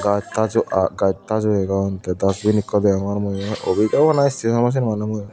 gaj taj oo aa gaj taj oo degong te dusbin ekko degongor mui yo obiz abaw nahi stasion awbaw sen maney mui.